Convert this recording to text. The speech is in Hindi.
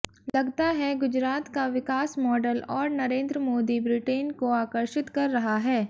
लगता है गुजरात का विकास मॉडल और नरेंद्र मोदी ब्रिटेन को आकर्षित कर रहा है